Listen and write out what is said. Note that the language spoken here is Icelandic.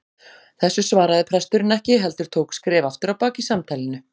Þessu svaraði presturinn ekki heldur tók skref aftur á bak í samtalinu.